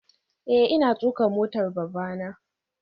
Eh ina tuka motar babana